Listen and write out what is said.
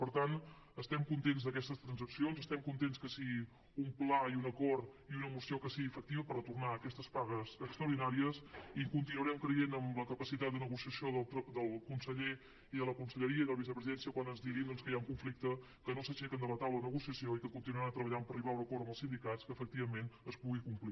per tant estem contents d’aquestes transaccions estem contents que siguin un pla i un acord i una moció que sigui efectius per retornar aquestes pagues extraordinàries i continuarem creient en la capacitat de negociació del conseller i de la conselleria i de la vicepresidència quan ens diguin doncs que hi ha un conflicte que no s’aixequen de la taula de negociació i que continuaran treballant per arribar a un acord amb els sindicats que efectivament es pugui complir